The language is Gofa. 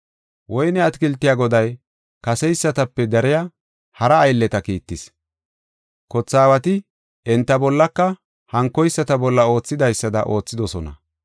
Woyne atakiltiya goday kaseysatape dariya hara aylleta kiittis. Kothe aawati enta bollaka hankoyisata bolla oothidaysada oothidosona.